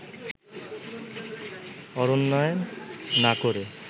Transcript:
অরণ্যায়ন না করে